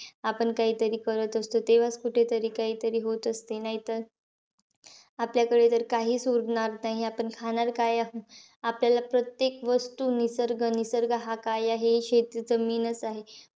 आपण काहीतरी करत असतो, तेव्हाचं कुठेतरी काहीतरी होत असते. नाहीतर आपल्याकडे तर काहीच उरणार नाही. आपण खाणार काय? आपल्याला प्रत्येक वस्तू निसर्ग, निसर्ग हा काय आहे? शेतीचं mean चं आहे.